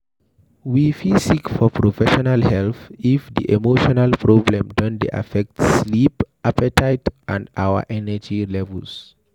we fit seek for professional help if di emotional problem don dey affect sleep, appetite and our energy levels